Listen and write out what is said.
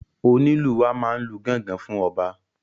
Onílù wa máa n lu gángan fún ọba.